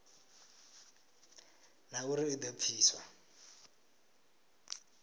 na uri i do pfiswa